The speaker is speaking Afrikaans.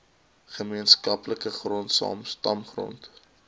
gemeenskaplike grond stamgrond